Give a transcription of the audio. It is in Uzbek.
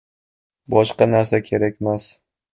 Boshqa narsa kerakmas.